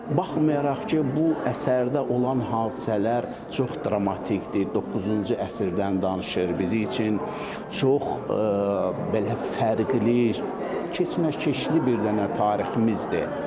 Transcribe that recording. Baxmayaraq ki, bu əsərdə olan hadisələr çox dramatikdir, 9-cu əsrdən danışır, bizim üçün çox belə fərqli keçməkeşli bir dənə tariximizdir.